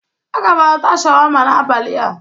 Aga m ata sharwama n'abali a.